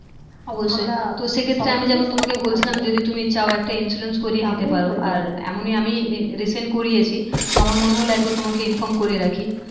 অবশ্যই যদি তুমি চাও আর এমনই আমি recent করিয়েছি তো আমার মনে হলো একবার তোমাকে inform করে রাখি